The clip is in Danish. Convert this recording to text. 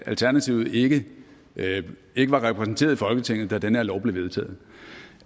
alternativet ikke ikke var repræsenteret i folketinget da den her lov blev vedtaget